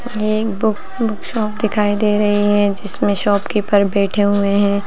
ये के book shop दिखाई दे रही है जिसमें शॉपकीपर बैठे हुए है।